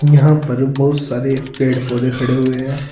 यहां पर बहुत सारे पेड़ पौधे खड़े हुए है।